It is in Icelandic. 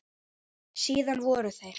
Síðan voru þeir